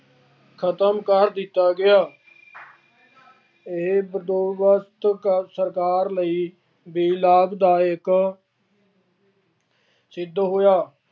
ਖਤਮ ਕਰ ਦਿੱਤਾ ਗਿਆ। ਇਹ ਬੰਦੋਬਸਤ ਸਰਕਾਰ ਲਈ ਵੀ ਲਾਭਦਾਇਕ ਸਿੱਧ ਹੋਇਆ।